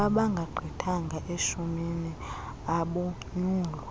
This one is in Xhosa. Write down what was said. abangagqithanga eshumini abonyulwa